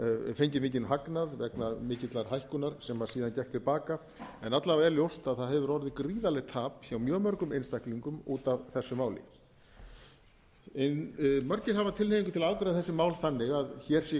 fengið mikinn hagnað vegna mikillar hækkunar sem síðan gekk til baka en alla vega er ljóst að það hefur orðið gríðarlegt tap hjá mjög mörgum einstaklingum út af þessu máli margir hafa tilhneigingu til að afgreiða þessi mál þannig að hér sé